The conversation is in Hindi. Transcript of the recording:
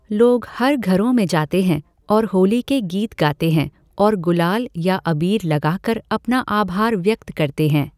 लोग हर घरों में जाते हैं और होली के गीत गाते हैं और गुलाल या अबीर लगाकर अपना आभार व्यक्त करते हैं।